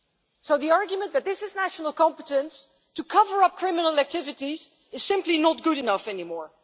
So the argument that this is a national competence to cover up criminal activities is simply not good enough anymore.